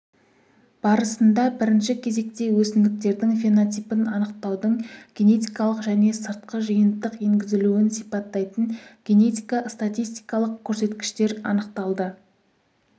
барысында бірінші кезекте өсімдіктердің фенотипін анықтаудың генетикалық және сыртқы жиынтық енгізілуін сипаттайтын генетика статистикалық көрсеткіштер анықталды